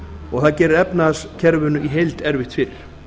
og það gerir efnahagskerfinu í heild erfitt fyrir